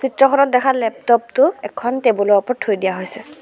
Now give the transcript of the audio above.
চিত্ৰখনত দেখা লেপটপ টো এখন টেবুল ৰ ওপৰত থৈ দিয়া হৈছে।